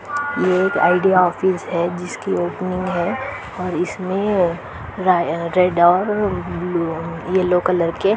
ये एक Idea office है जिसकी ओपनिंग है और इसमें राय रेड और येलो कलर के--